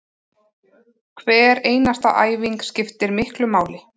Hver einasta æfing skiptir miklu máli